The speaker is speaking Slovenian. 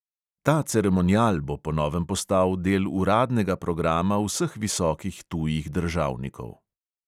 Ta ceremonial bo po novem postal del uradnega programa vseh visokih tujih državnikov.